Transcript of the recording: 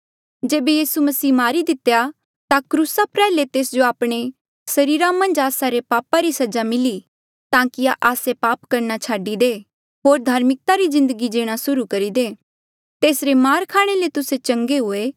जेबे यीसू मसीह मारी दितेया ता क्रूसा प्रयाल्हे तेस जो आपणे सरीरा मन्झ आस्सा रे पापा री सजा मिली ताकि आस्से पाप करणा छाडी दे होर धार्मिकता री जिन्दगी जीणा सुर्हू करी दे तेसरे मार खाणे ले तुस्से चंगे हुए